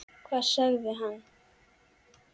Hvað segir hann?